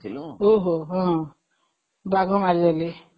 ଓହୋ, ହଁ ବାଘ ମାରିଦେଇଥିଲେ